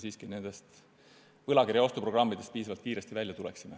Meil tuleb nendest võlakirjade ostu programmidest piisavalt kiiresti välja tulla.